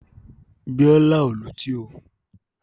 Bíọ́lá ò lutí o.